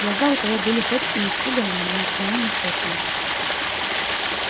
глаза у того были хоть и испуганными но несомненно честными